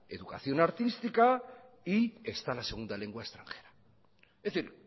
educación artística y está la segunda lengua extranjera es decir